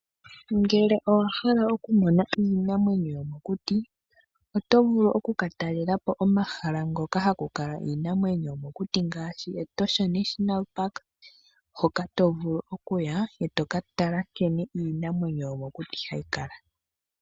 Uuna wa hala okumona iinamwenyo yomokuti oto vulu okukatalelapo omahala hoka ha ku kala iinamwenyo yomokuti ngaashi Etosha National Park hoka to vulu okuya e to ka tala nkene iinamwenyo yomokuti hayi kala.